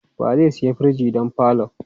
Wa zai siya firij don falon?